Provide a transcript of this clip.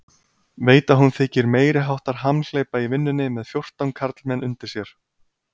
Veit að hún þykir meiriháttar hamhleypa í vinnunni með fjórtán karlmenn undir sér.